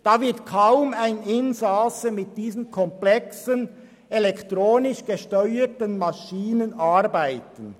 Dabei wird kaum ein Insasse mit diesen komplexen elektronisch gesteuerten Maschinen arbeiten.